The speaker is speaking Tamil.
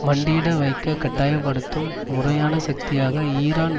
மண்டியிட வைக்க கட்டாய படுத்தும் முறையான சக்தியாக ஈரான்